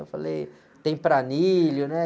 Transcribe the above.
Eu falei, tem, né?